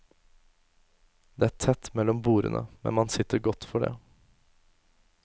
Det er tett mellom bordene, men man sitter godt for det.